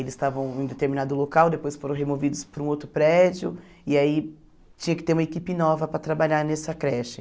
Eles estavam em determinado local, depois foram removidos para um outro prédio, e aí tinha que ter uma equipe nova para trabalhar nessa creche.